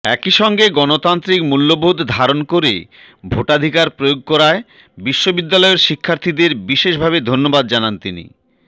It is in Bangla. একইসঙ্গে গণতান্ত্রিক মূল্যবোধ ধারণ করে ভোটাধিকার প্রয়োগ করায় বিশ্ববিদ্যালয়ের শিক্ষার্থীদের বিশেষভাবে ধন্যবাদ জানান তিনি